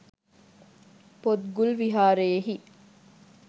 පොත්ගුල් විහාරයෙහි